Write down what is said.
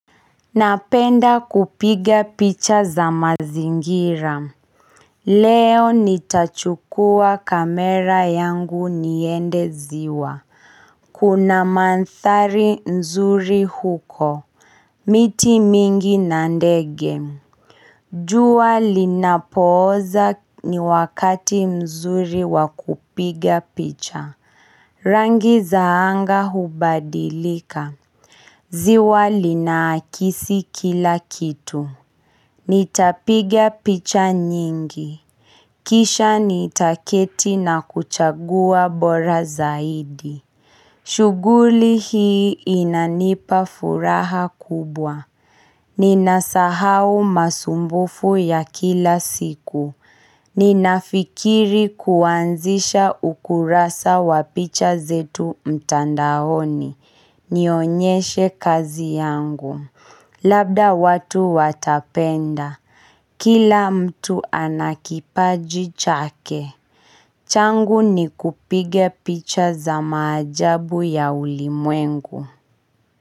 Napenda kupiga picha, za mazingira. Leo nitachukua kamera yangu niende ziwa Kuna manthari nzuri huko miti mingi na ndege jua linapooza ni wakati mzuri wa kupiga picha Rangi za anga hubadilika ziwa linaakisi kila kitu Nitapiga picha nyingi. Kisha nitaketi na kuchagua bora zaidi. Shuguli hii inanipa furaha kubwa. Ninasahau masumbufu ya kila siku. Ninafikiri kuanzisha ukurasa wa picha zetu mtandaoni. Nionyeshe kazi yangu. Labda watu watapenda Kila mtu ana kipaji chake changu ni kupiga picha za maajabu ya ulimwengu.